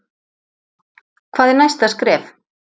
Hvað er næsta skref